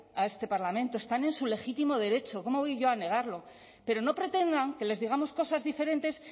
a este parlamento están en su legítimo derecho cómo voy yo a negarlo pero no pretendan que les digamos cosas diferentes